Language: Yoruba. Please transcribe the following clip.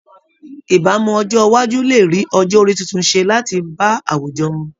Ìbámu ọjọ́ iwájú lè rí ọjọ́ orí titun ṣe láti bá àwùjọ mu